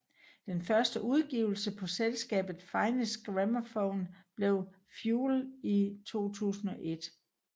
Den første udgivelse på selskabet Finest Gramophone blev Fuel i 2001